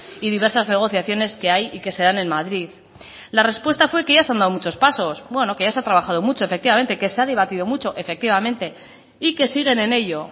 y diversas negociaciones que hay y que se dan en madrid la respuesta fue que ya se han dado muchos pasos bueno que se ha trabajado mucho efectivamente que se ha debatido mucho efectivamente y que siguen en ello